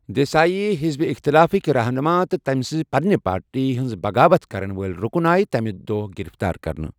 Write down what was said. دیسایی، حزب اِختلافٕکۍ رہنُما تہٕ تٔمۍ سٕنزِ پنٛنہِ پارٹی ہٕنٛز بغاوت كرن وٲلۍ ركن آیہ تمی دۄہ گِرفتار كرنہٕ ۔